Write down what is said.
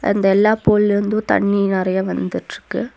அந்த எல்லா பூல்லிந்து தண்ணி நெறையா வந்துட்ருக்கு.